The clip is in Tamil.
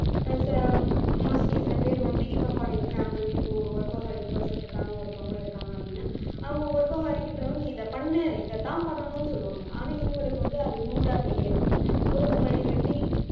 mostly சில பேர் வந்து இப்ப for example இப்ப ஒரு workaholic person இருக்காங்க ஒருத்தவங்க இருக்காங்க அப்படின்னா இருக்கின்றவன் நீ இதை பண்ணு இதைத்தான் பண்ணணும்னு சொல்லுவாங்க ஆனா இவங்களுக்கு வந்து அது rude ஆ தெரியலாம்